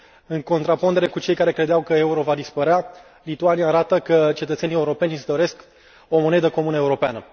În contrapondere cu cei care credeau că euro va dispărea, Lituania arată că cetățenii europeni își doresc o monedă comună europeană.